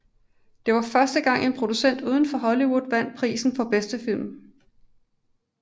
Det var første gang en producent uden for Hollywood vandt prisen for bedste film